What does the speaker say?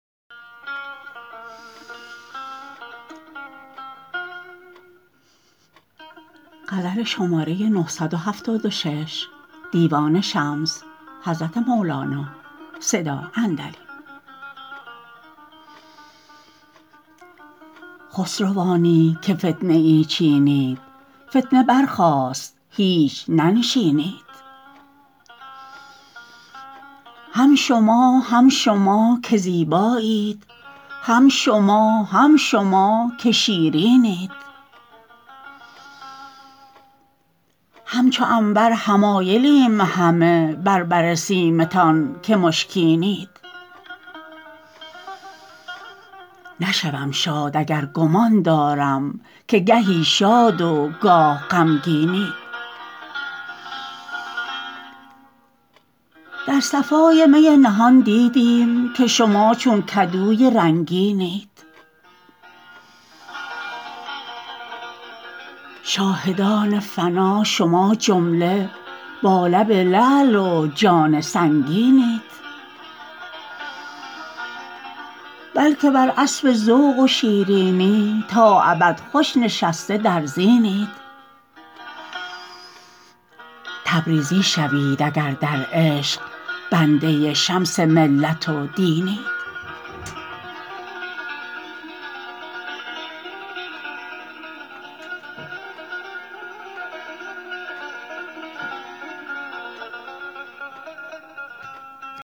خسروانی که فتنه ای چینید فتنه برخاست هیچ ننشینید هم شما هم شما که زیبایید هم شما هم شما که شیرینید همچو عنبر حمایلیم همه بر بر سیمتان که مشکینید نشوم شاد اگر گمان دارم که گهی شاد و گاه غمگینید در صفای می نهان دیدیم که شما چون کدوی رنگینید شاهدان فنا شما جمله با لب لعل و جان سنگینید بل که بر اسب ذوق و شیرینی تا ابد خوش نشسته در زینید تبریزی شوید اگر در عشق بنده شمس ملت و دینید